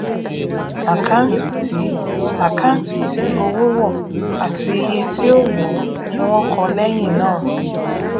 àkáǹtì tí àkáǹtì tí owó wọ àti iye tí ó wọọ ni wọn kọ lẹyìn náà